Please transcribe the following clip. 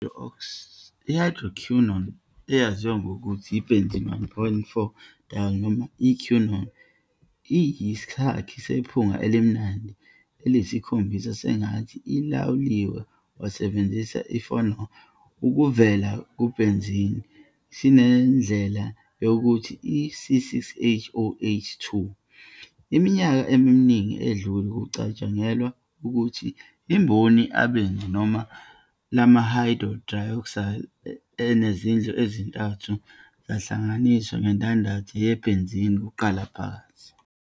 I-Hydroquinone, eyaziwa ngokuthi i-benzene-1,4-diol, noma i-quinol, iyisakhi esiphunga elimnandi eliyisikhombisa sengathi ilawuliwe wasebenzisa i-phenol, okuvela kubenzine, esinendlela yokuthi i-C6H4, OH, 2. Iminyaka eminingi edlule, kwakucatshangelwa ukuthi imboni abanzi lama-hydroxyl enezindlu ezithathu zahlanganiswe ngendandatho ye-benzene kuqala phakathi.